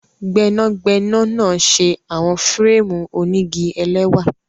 Gbẹnagbẹna na ṣe awọn férémù onigi ẹlẹwa